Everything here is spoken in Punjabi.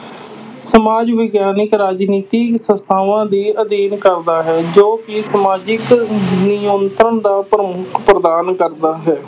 ਸਮਾਜ ਵਿਗਿਆਨਕ ਰਾਜਨੀਤੀ ਸੰਸਥਾਵਾਂ ਦੁੇ ਅਧਿਐਨ ਕਰਦਾ ਹੈ ਜੋ ਕਿ ਸਮਾਜਿਕ ਨਿਯੰਤਰਣ ਦਾ ਪ੍ਰਮੁੱਖ ਪ੍ਰਦਾਨ ਕਰਦਾ ਹੈ।